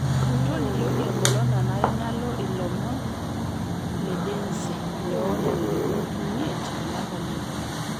tolikioki enkolong nanare nalo ilomon le densi loo ntarikini imiet olapa li okuni